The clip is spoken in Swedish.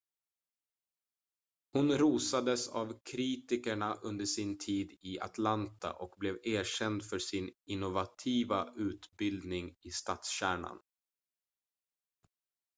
hon rosades av kritikerna under sin tid i atlanta och blev erkänd för sin innovativa utbildning i stadskärnan